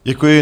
Děkuji.